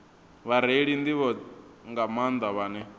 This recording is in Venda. vhareili nḓivho nga maanḓa vhane